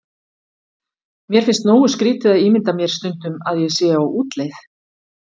Mér finnst nógu skrýtið að ímynda mér stundum ég sé á útleið.